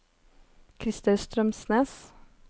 Krister Strømsnes